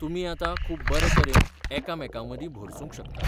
तुमी आतां खूब बरे तरेन एकामेकांमदीं भरसूंक शकतात.